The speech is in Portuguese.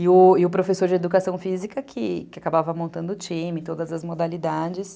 E o o professor de educação física que acabava montando o time, todas as modalidades.